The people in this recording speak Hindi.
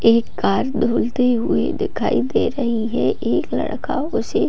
एक कार धुलती हुई दिखाई दे रही है एक लड़का उसे --